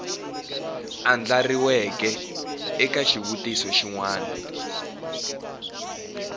andlariweke eka xivutiso xin wana